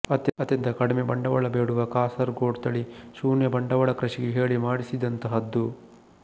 ಅತ್ಯಂತ ಕಡಿಮೆ ಬಂಡವಾಳ ಬೇಡುವ ಕಾಸರಗೊಡ್ ತಳಿ ಶೂನ್ಯಬಂಡವಾಳ ಕೃಷಿಗೆ ಹೇಳಿ ಮಾಡಿಸಿದಂತಹದ್ದು